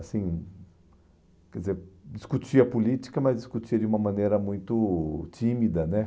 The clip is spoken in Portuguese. Assim, quer dizer, discutia política, mas discutia de uma maneira muito tímida, né?